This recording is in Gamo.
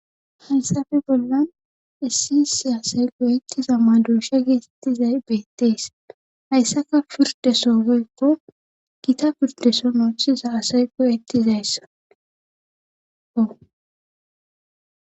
hansafe bollan issi issi asay goyettizamman duosha geesettizay beettees hayssaka pirdesogeykko gita pirdeso noochchiza asay qoyettizayssaao